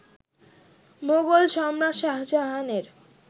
মোগল সম্রাট শাহজাহানের